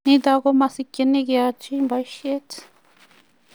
nitok ko masikchini keyachi boishet